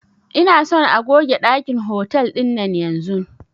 Ina son a goge ɗakin hotal ɗinan yanzun